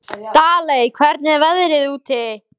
Daley, hvernig er veðrið úti?